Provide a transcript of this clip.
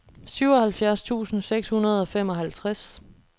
syvoghalvfjerds tusind seks hundrede og femoghalvtreds